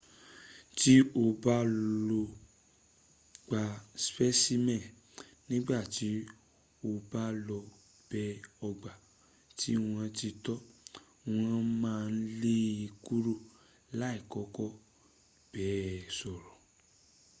ti o ba lo gba specimeni nigba ti o ba lo be ogba ti won ti to won maa le e kuro lai koko ba e soro